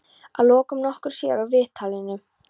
Að lokum, nokkru síðar úr viðtalinu.